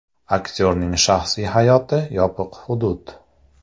Aktyorning shaxsiy hayoti yopiq hudud.